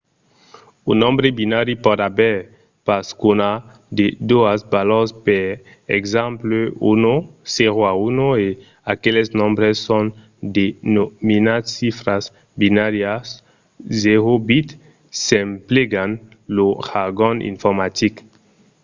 un nombre binari pòt aver pas qu’una de doas valors per exemple 0 o 1 e aqueles nombres son denominats chifras binàrias - o bits s'emplegam lo jargon informatic